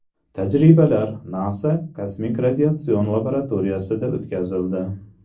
Tajribalar NASA kosmik radiatsion laboratoriyasida o‘tkazildi.